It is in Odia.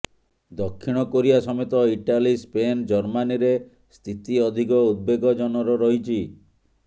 ଦକ୍ଷିଣ କୋରିଆ ସମେତ ଇଟାଲୀ ସ୍ପେନ୍ ଜର୍ମାନୀରେ ସ୍ଥିତି ଅଧିକ ଉଦବେଗଜନର ରହିଛି